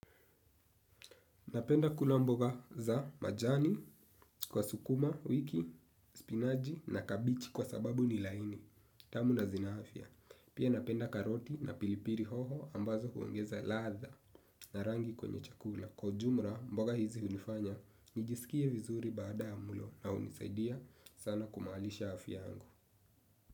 Napenda kula mboga za majani, kwa sukuma, wiki, spinaji na kabichi kwa sababu ni laini, tamu na zina afya. Pia napenda karoti na pilipili hoho ambazo huongeza ladha na rangi kwenye chakula. Kwa ujumla mboga hizi hunifanya, nijisikie vizuri baada ya mlo na hunisaidia sana kumaalisha afya yangu.